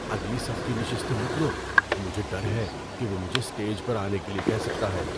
اگلی صف کی نشستیں مت لو۔ مجھے ڈر ہے کہ وہ مجھے اسٹیج پر آنے کے لیے کہہ سکتا ہے۔